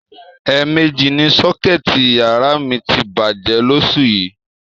È̩è̩mejì ni só̩ké̩è̩tì yàrá mi ti bàjé̩ lós̩ù yìí